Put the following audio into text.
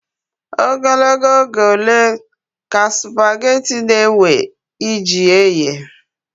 Ogologo oge ole ka sụpaghetị na-ewe iji ehe?